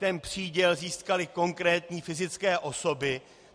Ten příděl získaly konkrétní fyzické osoby.